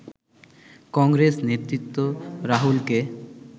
কংগ্রেস নেতৃত্ব রাহুলকে